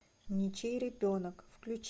ничей ребенок включи